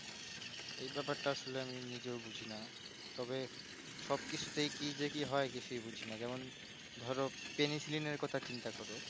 এই বেপার টা আমি আসলে নিজেও বুঝিনা তবে সবকিছুতে কি যে কি হয় সেটাও বুঝি না ধরো peniliciline এর যেমন চিন্তা করো